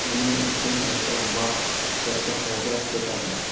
Buning uchun esa vaqt, katta xarajat ketadi.